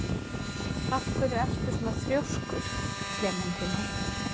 Af hverju ertu svona þrjóskur, Klementína?